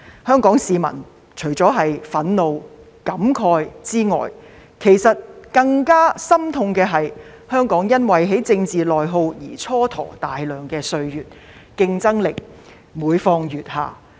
香港市民除了憤怒和感慨外，其實感到更加心痛的，是香港因為政治內耗而蹉跎大量歲月，我們的競爭力每況愈下。